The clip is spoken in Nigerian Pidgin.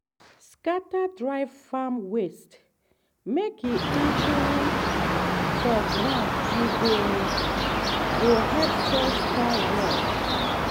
scatter dry farm waste mek e even for ground e go go help soil strong well.